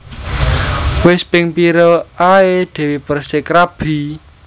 Wes ping pira ae Dewi Perssik rabi?